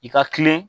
I ka kilen